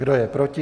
Kdo je proti?